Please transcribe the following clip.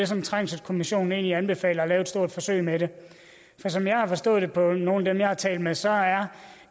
som trængselskommissionen anbefaler og lave et stort forsøg med det for som jeg har forstået det på nogle af dem jeg har talt med så er